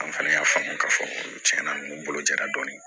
An fana y'a faamu ka fɔ cɛn na ninnu bolo jara dɔɔni